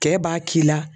Cɛ b'a k'i la